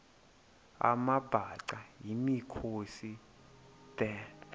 amabhaca yimikhosi the